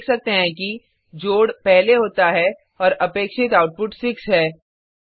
हम देख सकते हैं कि जोड पहले होता है और अपेक्षित आउटपुट 6 है